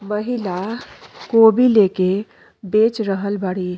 महिला गोभी लेके बेच रहल बाड़ी।